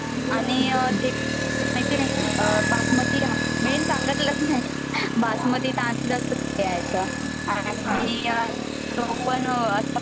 आणि तुला मला माहिते आहे ते बासमती मेन सांगितलच नाही बासमती तांदूल घ्यायचे आणि